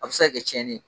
A bɛ se ka kɛ tiɲɛni ye